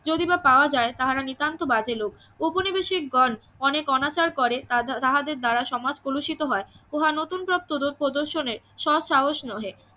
যদি বা পাওয়া যায় তাহারা নিতান্ত বাজে লোক ঔপনিবেশিক গণ অনেক অনাচার করে ~ তাহাদের দ্বারা সমাজ কলুষিত হয় উহা নতুন পথ ~ প্রদর্শনের সৎ সাহস নহে